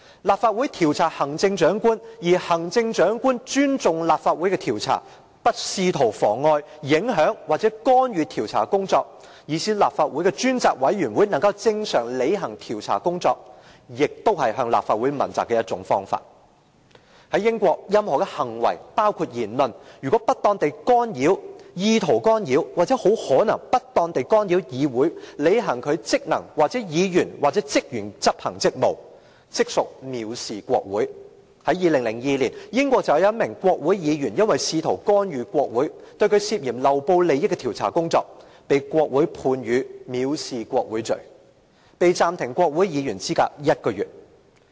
立法會調查行政長官，而行政長官尊重立法會的調查，不試圖妨礙、影響或干預調查工作，讓立法會的專責委員會能正常履行調查工作，也是向立法會問責的一種方法。在英國，任何行為、言論，如不當地干擾、意圖干擾或很可能不當地干擾議會履行其職能或議員或職員執行職務，即屬藐視國會。在2002年，英國便有一名國會議員因為試圖干預國會對他涉嫌漏報利益的調查工作，被國會判以藐視國會罪，被暫停國會議員資格一個月。